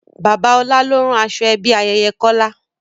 Bàbá ọlá ló rán aṣọ ẹbí ayẹyẹ Kọ́lá